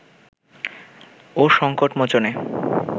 ও সংকট মোচনে